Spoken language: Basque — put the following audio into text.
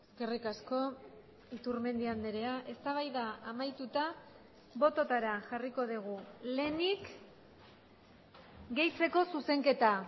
eskerrik asko iturmendi andrea eztabaida amaituta bototara jarriko dugu lehenik gehitzeko zuzenketa